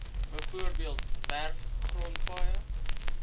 bv werfgrond paaie